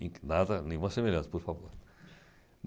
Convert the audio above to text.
nada nenhuma semelhança, por favor.